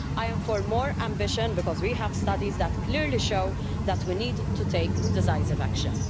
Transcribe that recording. I am for more ambition, because we have studies that clearly show that we need to take decisive action.